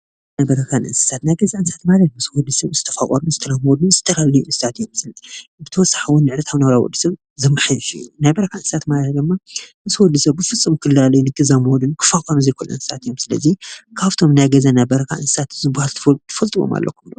ናይ ገዛን በረካን እንስሳት ናይ ገዛ እንስሳት ማለት ምስ ወዲ ሰብ ዝተፋቀሩን ዝተላመዱን እንስሳት እዮም፡፡ ብተወሳኪ እውን ንዕለታዊ ናብራ ወዲሰብ ዘመሓይሽ እዩ፡፡ ናይ በረካ እንስሳት ድማ ምስ ወዲሰብ ፍፁም ክላለዩን ክዛመዱን ክፋቀሩን ዘይክእሉ እንስሳት እዮም፡፡ ስለዚ ካቶም ናይ ገዛን ናይ በረካን እንስሳት ዝበሃሉ ትፈልጥዎም አለኩም ዶ?